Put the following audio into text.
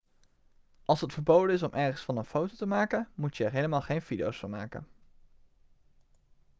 als het verboden is om ergens van een foto te maken moet je er al helemaal geen video van maken